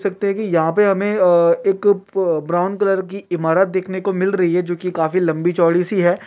सकते है कि यहां पे हमें अ- एक ब्राउन कलर की इमारत दिखने को मिल रही है जो कि काफी लंबी चौड़ी सी है।